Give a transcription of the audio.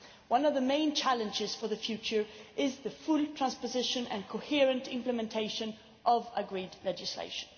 One of the main challenges for the future is the full transposition and coherent implementation of agreed legislation.